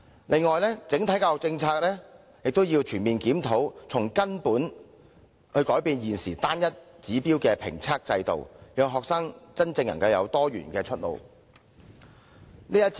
此外，也要全面檢討整體教育政策，從根本改變現時單一指標的評測制度，讓學生真正能夠有多元的出路。